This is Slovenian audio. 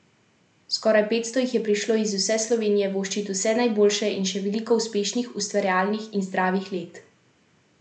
Skoraj petsto jih je prišlo iz vse Slovenije voščit vse najboljše in še veliko uspešnih, ustvarjalnih in zdravih let.